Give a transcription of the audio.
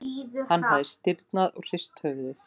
Hann hafði stirðnað og hrist höfuðið.